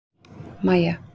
Maja